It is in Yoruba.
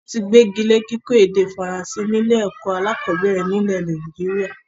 Wọn tí gbegile kíkọ́ èdè Faransé ni ilé ẹ̀kọ́ alakọ̀bẹ́ẹ́rẹ̀ nílé Nàìjíríà